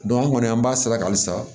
an kɔni an b'a sira halisa